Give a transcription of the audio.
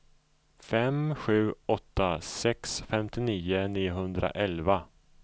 fem sju åtta sex femtionio niohundraelva